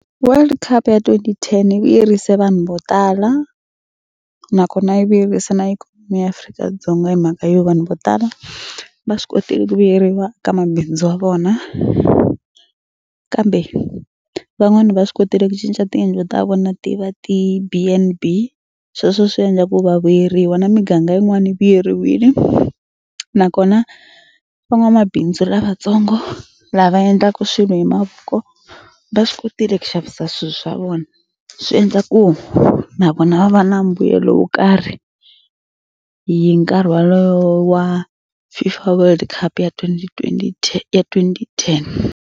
World cup ya twenty-ten yi vuyerisa vanhu vo tala nakona yi vuyerisa na ikhonomi ya Afrika-Dzonga hi mhaka yo vanhu vo tala va swi kotile ku vuyeriwa ka mabindzu ya vona kambe van'wani va swi kotile ku cinca tiyindlu ta vona ti va ti-B_N_B sweswo swi endla ku va vuyeriwa na miganga yin'wana vuyeriwile nakona van'wamabindzu lavatsongo lava endlaka swi hi mavoko va swi kotile ku xavisa swilo swa vona. Swi endla ku na vona va va na mbuyelo wo karhi hi nkarhi walowo wa FIFA world cup ya twenty twenty ya twenty-ten.